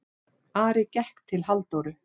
Ari gekk til Halldóru.